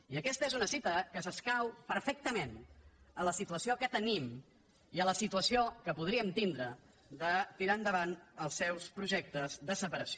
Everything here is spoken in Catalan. i aquesta és una cita que s’escau perfectament a la situació que tenim i a la situació que podríem tindre de tirar endavant els seus projectes de separació